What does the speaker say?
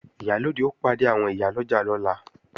Ìyálóde ó pàdé àwọn ìyá ọlọ́jà lọ́la